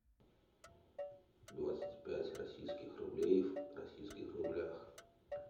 двадцать пять российских рублей в российских рублях